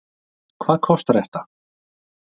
Hvað kostar þetta?